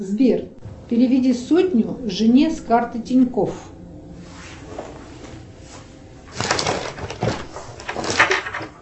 сбер переведи сотню жене с карты тинькофф